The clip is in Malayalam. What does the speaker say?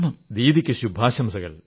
ദീദിക്ക് ശുഭാശംസകൾ